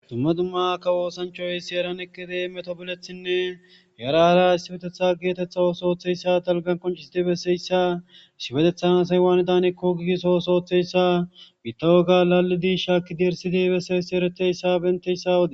Dumma dumma kawo osanichay issi heeran eqqidu yara hara tobbo oso otishe diza issa issipetetan asayi wani danako qoncissso oso otha issa shakiddi erisidi bessa issa